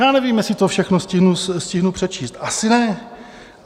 Já nevím, jestli to všechno stihnu přečíst, asi ne.